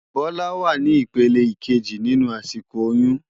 Bola wá ni ipélé ikéji ninú àsikó óyùn